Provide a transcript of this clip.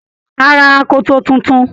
Á ra akoto tuntun